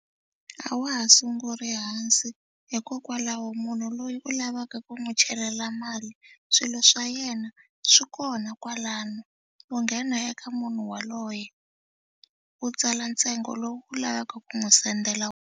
A wa ha sunguli hansi hikokwalaho munhu loyi u lavaka ku n'wi chelela mali swilo swa yena swi kona kwalano. U nghena eka munhu yaloye u tsala ntsengo lowu u lavaka ku n'wi sendela .